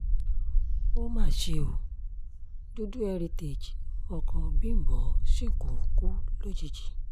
ó mà ṣe ó dúdú heritage ọkọ bímbọ́ shinkun kú lójijì